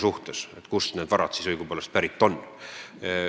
Nad peavad tõendama, kust nende varad õigupoolest pärit on.